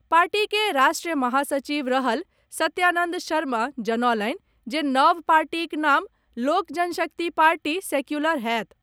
Party के राष्ट्रीय महासचिव रहल सत्यानंद शर्मा जनौलनि जे नव पार्टीक नाम लोक जनशक्ति पार्टी सेक्यूलर होएत।